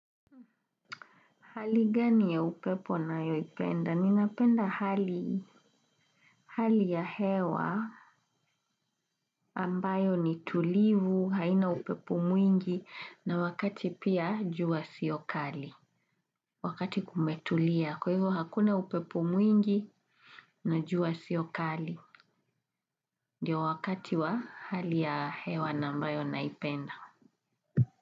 Hali gani ya upepo nayoipenda? Ninapenda hali ya hewa ambayo ni tulivu, haina upepo mwingi na wakati pia jua sio kali. Wakati kumetulia, kwa hivo hakuna upepo mwingi na jua sio kali. Ndio wakati wa hali ya hewa na ambayo naipenda.